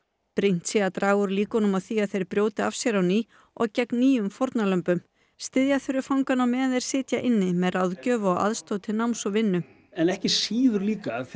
brýnt sé að draga úr líkunum á því að þeir brjóti af sér á ný og gegn nýjum fórnarlömbum styðja þurfi fangana á meðan þeir sitja inni með ráðgjöf og aðstoð til náms og vinnu en ekki síður líka þegar